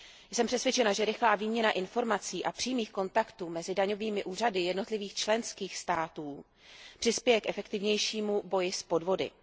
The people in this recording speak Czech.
Jsem přesvědčena, že rychlá výměna informací a přímých kontaktů mezi daňovými úřady jednotlivých členských států přispěje k efektivnějšímu boji s podvody.